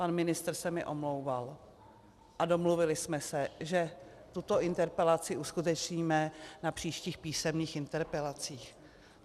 Pan ministr se mi omlouval a domluvili jsme se, že tuto interpelaci uskutečníme na příštích písemných interpelacích.